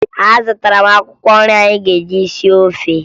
Azụtara m akwụkwọ nri anyị ga-eji sie ofe